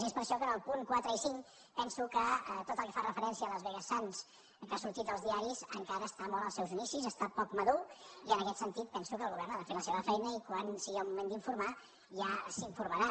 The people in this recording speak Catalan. i és per això que en els punts quatre i cinc penso que tot el que fa referència a las vegas sands que ha sortit als di·aris encara està molt als seus inicis està poc madur i en aquest sentit penso que el govern ha de fer la seva feina i quan sigui el moment d’informar ja s’informa·rà